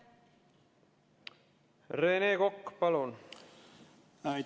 Rene Kokk, palun!